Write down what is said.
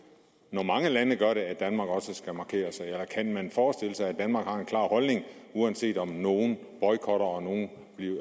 når mange lande gør det at danmark også skal markere sig eller kan man forestille sig at danmark har en klar holdning uanset om nogle boykotter og nogle